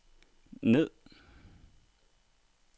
ned